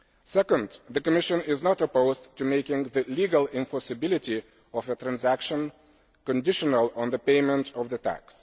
Secondly, the Commission is not opposed to making the legal enforceability of a transaction conditional on the payment of the tax.